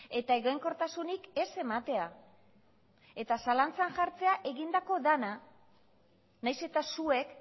eta egonkortasunik ez ematea eta zalantzan jartzea egindako dena nahiz eta zuek